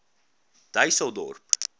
dysselsdorp